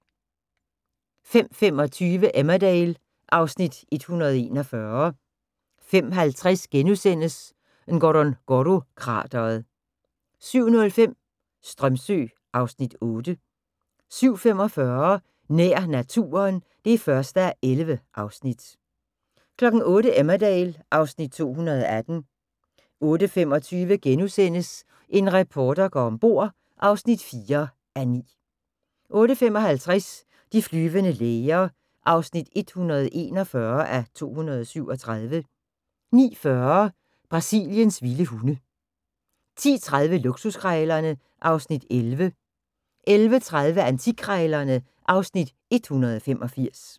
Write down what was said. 05:25: Emmerdale (Afs. 141) 05:50: Ngorongoro-krateret * 07:05: Strömsö (Afs. 8) 07:45: Nær naturen (1:11) 08:00: Emmerdale (Afs. 218) 08:25: En reporter går om bord (4:9)* 08:55: De flyvende læger (141:237) 09:40: Brasiliens vilde hunde 10:30: Luksuskrejlerne (Afs. 11) 11:30: Antikkrejlerne (Afs. 185)